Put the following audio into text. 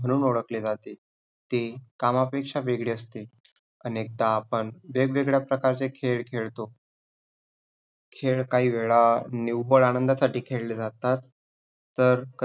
म्हणून ओळखले जाते. ते कामापेक्षा वेगळे असते. अनेकदा आपण वेग-वेगळ्या प्रकारचे खेळ खेळतो. खेळ काही वेळा निव्वळ आनंदासाठी खेळले जातात तर